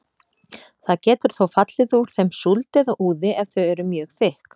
Það getur þó fallið úr þeim súld eða úði ef þau eru mjög þykk.